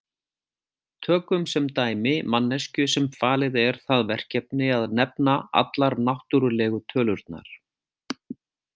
Tökum sem dæmi manneskju sem falið er það verkefni að nefna allar náttúrulegu tölurnar.